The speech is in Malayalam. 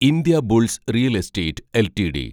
Indiabulls real estate LTD